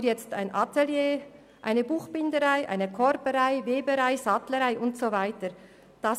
Dafür hat man jetzt ein Atelier, eine Buchbinderei, eine Korberei, eine Weberei und eine Sattlerei und so weiter eingerichtet.